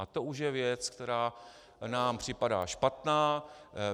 A to už je věc, která nám připadá špatná.